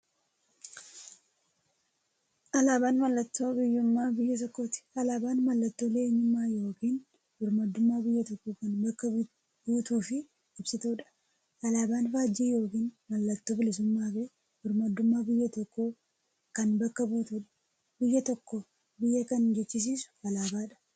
Alaaban mallattoo biyyuummaa biyya tokkooti. Alaabaan mallattoo eenyummaa yookiin birmaadummaa biyya tokkoo kan bakka buutuuf ibsituudha. Alaaban faajjii yookiin maallattoo bilisuummaafi birmaadummaa biyya tokkoo kan bakka buutuudha. Biyya tokko biyya kan jechisisuu alaabadha.